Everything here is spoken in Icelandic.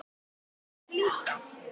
Þér líka?